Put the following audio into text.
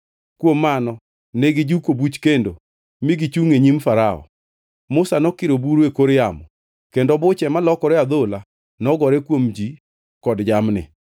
Kuom mano ne gijuko buch kendo mi gichungʼ e nyim Farao. Musa nokiro buru e kor yamo kendo buche malokore adhola nogore kuom ji kod jamni.